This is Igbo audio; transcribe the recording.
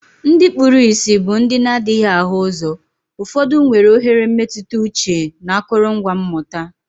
Ndị kpuru ìsì bụ ndị na adighi ahu uzo, ụfọdụ nwere oghere mmetụta uche na akụrụngwa mmụta.